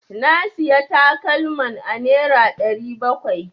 Na Siya takalman a nera ɗari bakwai.